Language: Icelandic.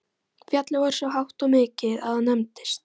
Fjallið var svo hátt og mikið að það nefndist